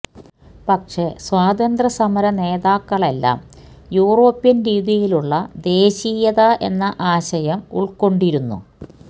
പക്ഷേ സ്വാതന്ത്ര്യ സമരനേതാക്കളെല്ലാം യൂറോപ്യന് രീതിയിലുള്ള ദേശീയത എന്ന ആശയം ഉള്ക്കൊണ്ടിരുന്നു